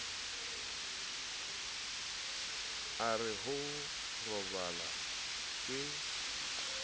o re ho robala ke